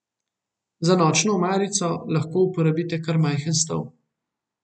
Za nočno omarico lahko uporabite kar majhen stol.